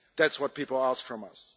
That's what people ask from us.